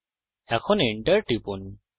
এখন enter টিপুন